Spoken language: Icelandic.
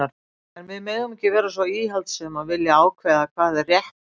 En við megum ekki vera svo íhaldssöm að vilja ákveða hvað er rétt þjóðtrú.